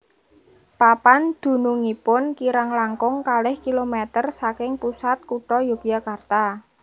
Papan dunungipun kirang langkung kalih kilometer saking pusat kutha Yogyakarta